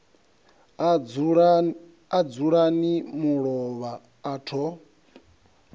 a dzulani mulovha a tho